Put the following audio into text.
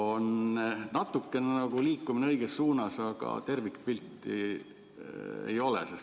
On nagu natukene liikumist õiges suunas, aga tervikpilti ei ole.